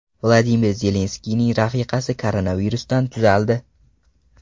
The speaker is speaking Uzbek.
Vladimir Zelenskiyning rafiqasi koronavirusdan tuzaldi.